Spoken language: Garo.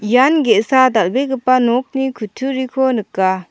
ian ge·sa dal·begipa nokni kutturiko nika.